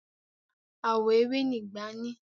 Àwọ̀ ewé ni ìgbá ní.